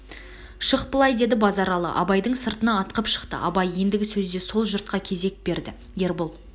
шық былай деді базаралы абайдың сыртына ытқып шықты абай ендігі сөзде сол жұртқа кезек берді ербол